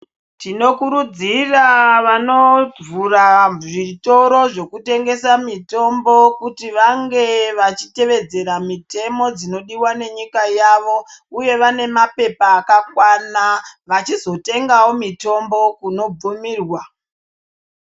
Tinokurudzira vanovhura zvitoro zvekutengesera mitombo kuti vange vachiyevedzera mutemo dzinodiwq nenyika yavo uye vane mapepa akakwana vachizotengawo mitombo kunobvumirwa.